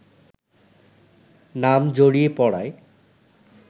নাম জড়িয়ে পড়ায়